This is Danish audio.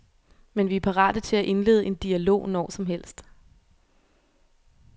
Men vi er parate til at indlede en dialog når som helst.